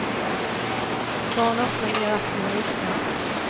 Barn är ofta mer aktiva än vuxna.